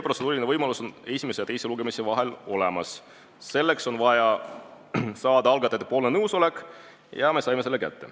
Selline võimalus on esimese ja teise lugemise vahel olemas, selleks on vaja algatajatelt nõusolek saada ja me saime selle.